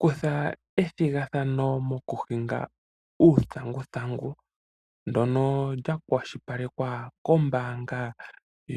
Kutha ethigathano mokuhinga uuthanguthangu, ndono lya kwa shilipalekwa kombaanga